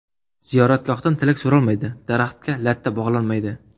Ziyoratgohdan tilak so‘ralmaydi, daraxtga latta bog‘lanmaydi.